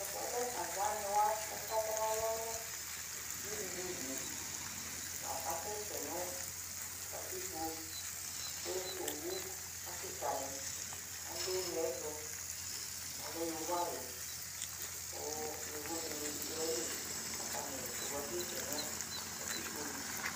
Tɛfuɛ lɛ aganiwa kakatɔ nalɔ nu ɖʒiɖuɖulie la asɛsɛ nu katikpo ku owu akikani aɖu uneeɛtu yovodini bi duayili katani owue asɛsɛ nu katikponu